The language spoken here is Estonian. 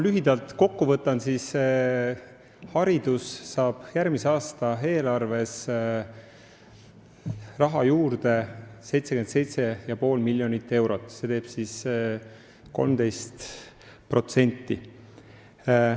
Lühidalt kokku võttes võin öelda, et haridus saab järgmise aasta eelarves juurde 77,5 miljonit eurot, mis teeb 13%.